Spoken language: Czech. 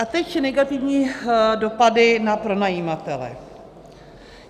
A teď negativní dopady na pronajímatele.